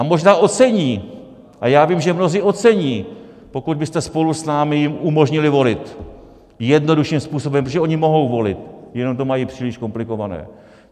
A možná ocení, a já vím, že mnozí ocení, pokud byste spolu s námi jim umožnili volit jednodušším způsobem, protože oni mohou volit, jenom to mají příliš komplikované.